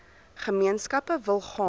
gemeenskappe wil gaan